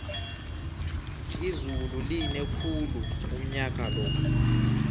izulu line khulu unyakalo